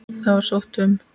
Það var sótt um.